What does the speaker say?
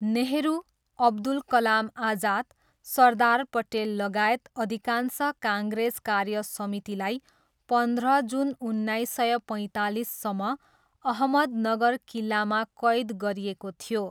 नेहरू, अब्दुल कलाम आजाद, सरदार पटेललगायत अधिकांश काङ्ग्रेस कार्यसमितिलाई पन्ध्र जुन उन्नाइस सय पैँतालिससम्म अहमदनगर किल्लामा कैद गरिएको थियो।